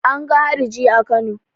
An ga hariji a Kano.